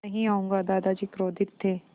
नहीं आऊँगा दादाजी क्रोधित थे